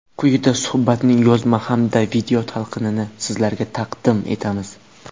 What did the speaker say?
Quyida suhbatning yozma hamda video talqinini sizlarga taqdim etamiz.